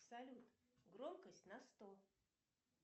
салют громкость на сто